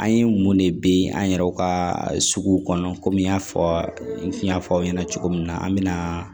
An ye mun de bin an yɛrɛw ka suguw kɔnɔ kɔmi n y'a fɔ n y'a fɔ aw ɲɛna cogo min na an bɛ na